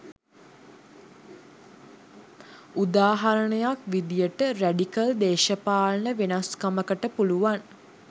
උදාහරණයක් විදිහට රැඩිකල් දේශපාලන වෙනස්කමකට පුළුවන්